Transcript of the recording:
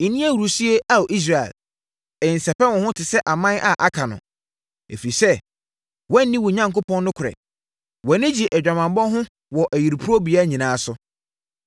Nni ahurisie, Ao Israel; nsɛpɛ wo ho te sɛ aman a aka no. Ɛfiri sɛ woanni wo Onyankopɔn nokorɛ, wʼani gye adwamammɔ ho wɔ ayuporobea nyinaa so.